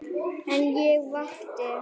En ég vakti.